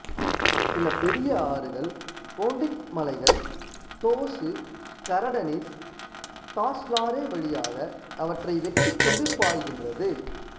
சில பெரிய ஆறுகள் போன்டிக் மலைகள் டோசு கரடெனிஸ் டாஸ்லாரே வழியாக அவற்றை வெட்டிக்கொண்டு பாய்கின்றது